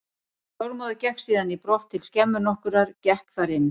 Þormóður gekk síðan í brott til skemmu nokkurrar, gekk þar inn.